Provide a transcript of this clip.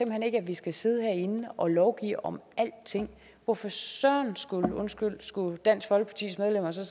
hen ikke at vi skal sidde herinde og lovgive om alting hvorfor søren undskyld skulle dansk folkepartis medlemmer så